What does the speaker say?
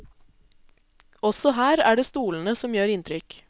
Også her er det stolene som gjør inntrykk.